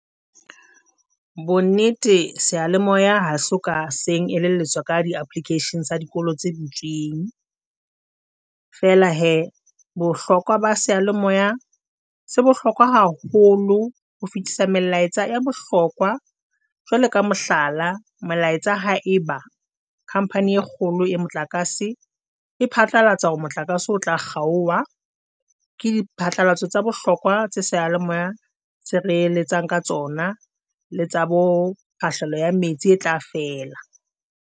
Bonnete seyalemoya ha soka seng elelletswa ka di-application tsa dikolo tse butsweng. Fela hee, bohlokwa ba seyalemoya se bohlokwa haholo ho fetisa melaetsa ya bohlokwa, jwalo ka mohlala melaetsa ha eba company e kgolo ya motlakase e phatlalatsa hore motlakase o tla kgaoha ke di phatlalatso tsa bohlokwa tse seyalemoya se re eletsang ka tsona le tsa bo tahlehelo ya metsi e tla fela.